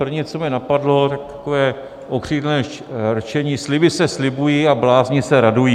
První, co mě napadlo, takové okřídlené rčení: sliby se slibují a blázni se radují.